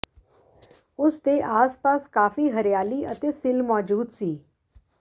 ਉਸ ਦੇ ਆਸਪਾਸ ਕਾਫੀ ਹਰਿਆਲੀ ਅਤੇ ਸਿੱਲ੍ਹ ਮੌਜੂਦ ਸੀ